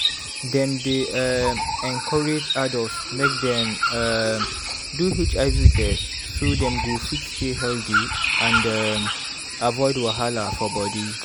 dem dey um encourage adults make dem um do hiv test so dem go fit stay healthy and um avoid wahala for body.